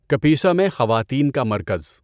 کپیسا میں خواتین کا مرکز